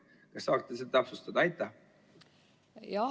Kas saaksid seda täpsustada?